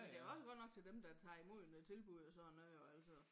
Men det også godt nok til dem der tager imod noget tilbud og sådan noget og altså